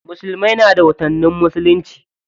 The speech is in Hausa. Musulmai na da watannin musulunci.